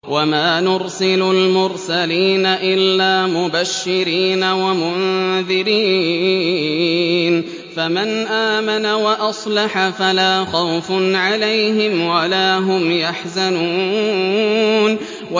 وَمَا نُرْسِلُ الْمُرْسَلِينَ إِلَّا مُبَشِّرِينَ وَمُنذِرِينَ ۖ فَمَنْ آمَنَ وَأَصْلَحَ فَلَا خَوْفٌ عَلَيْهِمْ وَلَا هُمْ يَحْزَنُونَ